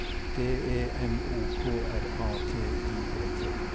D E M O K R A T I E T